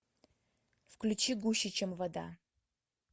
включи гуще чем вода